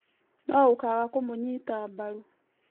no ũkaaga kũmũnyita mbaru